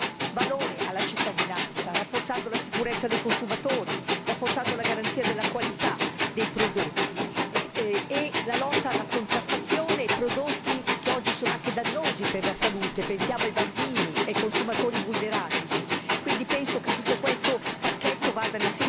Queste proposte vanno proprio nella direzione di dare valore alla cittadinanza, rafforzando la sicurezza dei consumatori, la garanzia di qualità dei prodotti e la lotta alla contraffazione di prodotti che oggi risultano anche dannosi per la salute pensiamo ai bambini e ai consumatori vulnerabili.